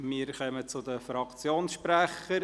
Wir kommen zu den Fraktionssprechern.